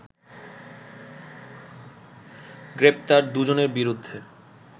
গ্রেপ্তার দুজনের বিরুদ্ধে